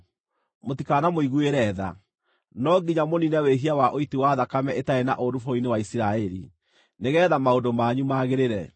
Mũtikanamũiguĩre tha. No nginya mũniine wĩhia wa ũiti wa thakame ĩtarĩ na ũũru bũrũri-inĩ wa Isiraeli, nĩgeetha maũndũ manyu magĩrĩre.